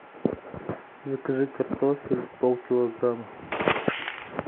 закажи картофель полкилограмма